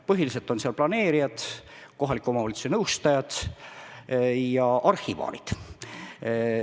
Põhiliselt on seal planeerijad, kohaliku omavalitsuse nõustajad ja arhivaarid.